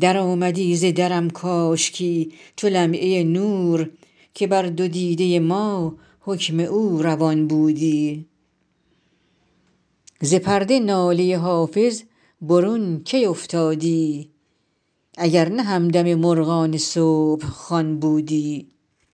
درآمدی ز درم کاشکی چو لمعه نور که بر دو دیده ما حکم او روان بودی ز پرده ناله حافظ برون کی افتادی اگر نه همدم مرغان صبح خوان بودی